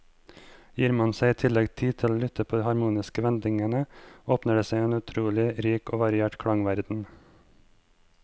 Gir man seg i tillegg tid til å lytte på de harmoniske vendingene, åpner det seg en utrolig rik og variert klangverden.